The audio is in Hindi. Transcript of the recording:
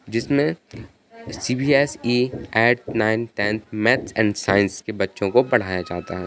'' जिसमे CBSE. Eight nine tenth maths and science के बच्चों को पढ़ाया जाता है। ''